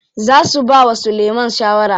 Za su bawa Sulaiman shawara.